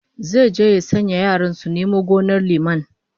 Zai je ya sanya yaran su nome gonar liman